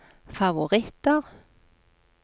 favoritter